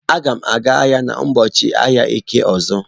Agam aga ahia n'ubọọchi ahia eke ozo.